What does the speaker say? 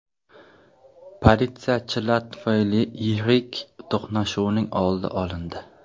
Politsiyachilar tufayli yirik to‘qnashuvning oldi olindi.